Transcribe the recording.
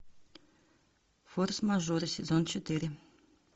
форс мажоры сезон четыре